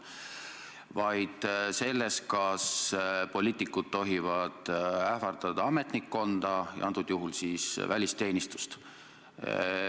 Küsimus oli selles, kas poliitikud tohivad ähvardada ametnikkonda, antud juhul siis välisteenistust.